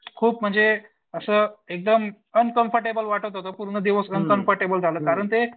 खूप म्हणजे असं एकदम अनकंफर्टेबल वाटत होतं पूर्ण दिवस अनकंफर्टेबल झालं कारण ते